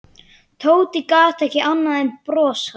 Tóti gat ekki annað en brosað.